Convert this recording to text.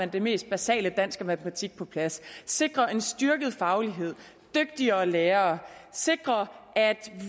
det mest basale dansk og matematik på plads sikre en styrket faglighed dygtigere lærere sikre at